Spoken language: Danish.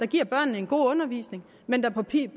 giver børnene en god undervisning men der på